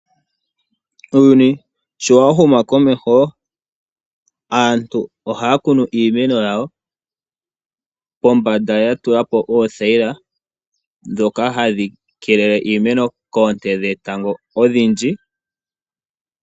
Uuyuni sho wa humu komeho aantu ohaya kunu iimeno yawo kombanda ya tula ko oothayila ndhoka hadhi keelele iimeno koonte dhetango odhindji.